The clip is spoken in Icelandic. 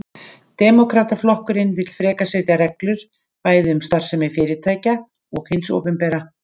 Demókrataflokkurinn vill frekar setja reglur, bæði um starfsemi fyrirtækja og hins opinbera.